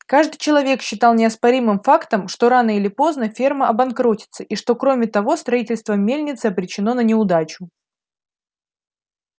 каждый человек считал неоспоримым фактом что рано или поздно ферма обанкротится и что кроме того строительство мельницы обречено на неудачу